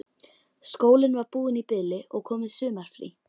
Skólinn var búinn í bili og komið sumarfrí.